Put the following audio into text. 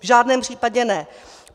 V žádném případě ne.